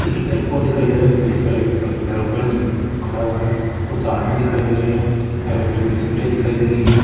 एक एयरपोर्ट दिखाई दे रहा है जिसका रेप पर एरोप्लेन खड़ा हुआ है कुछ आदमी दिखाई दे रहे है एरोप्लेन की सीढी दिखाई दे रही हैं।